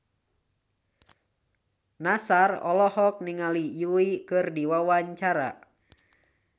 Nassar olohok ningali Yui keur diwawancara